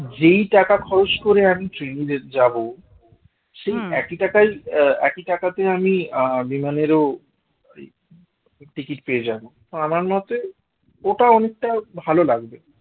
যেই টাকা খরচ করে আমি ট্রেনে যাব সেই একই টাকায় আহ একই টাকাতে আমি আহ বিমানেরও ticket পেয়ে যাব আমার মতে ওটা অনেকটা ভালো লাগবে